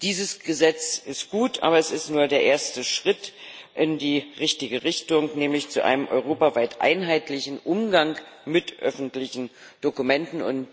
Dieses Gesetz ist gut, aber es ist nur der erste Schritt in die richtige Richtung, nämlich zu einem europaweit einheitlichen Umgang mit öffentlichen Dokumenten.